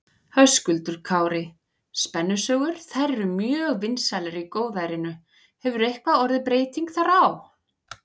Höskuldur Kári: Spennusögur, þær voru mjög vinsælar í góðærinu, hefur eitthvað orðið breyting þar á?